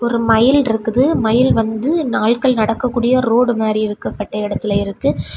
ஒரு மயில் இருக்குது மயில் வந்து ஆள்கள் நடக்கக்கூடிய ரோடு மாறி இருக்கப்பட்ட இடத்துல இருக்கு.